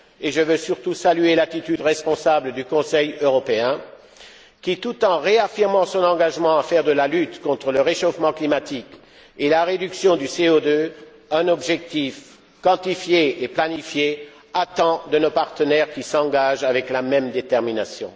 Je veux surtout saluer l'attitude responsable du Conseil européen qui, tout en réaffirmant son engagement à faire de la lutte contre le réchauffement climatique et de la réduction du CO 2 un objectif quantifié et planifié, attend de nos partenaires qu'ils s'engagent avec la même détermination.